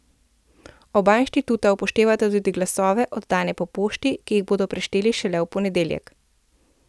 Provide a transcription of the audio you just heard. Oba inštituta upoštevata tudi glasove, oddane po pošti, ki jih bodo prešteli šele v ponedeljek.